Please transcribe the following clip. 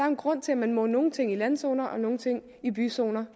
en grund til at man må nogle ting i landzoner og nogle ting i byzoner